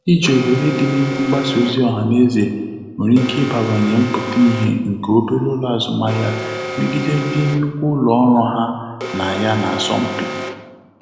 Iji òhèrè di n'ime mgbasa ozi ọha na eze nwere ike ibawanye mpụta ihe nke obere ụlọ azụmahịa megide ndị nnukwu ụlọ ọrụ ha na ya na-asọ mpi.